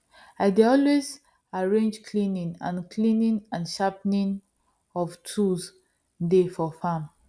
i dey always arrange cleaning and cleaning and sharpening of tools day for farm